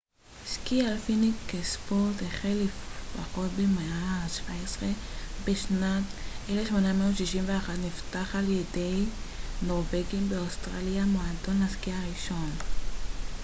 סקי אלפיני כספורט החל לפחות במאה ה -17 ובשנת 1861 נפתח ע י נורבגים באוסטרליה מועדון הסקי הראשון